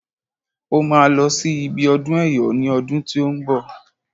Ó máa lọ sí ibi ọdún ẹyọ ní ọdún tí ó ń bọ̀